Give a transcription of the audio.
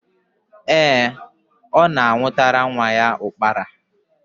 Ee, ọ na-anwụtara nwa ya ụkpara.